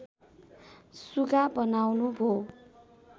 सुगा बनाउनु भो